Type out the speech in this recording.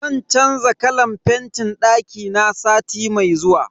Zan canza kalan fentin dakina sati mai zuwa.